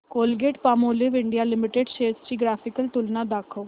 Colgate Palmolive India limited shares ची graphical तुलना दाखव